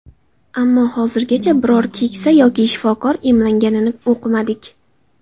Ammo hozirgacha biror keksa yoki shifokor emlanganini o‘qimadik.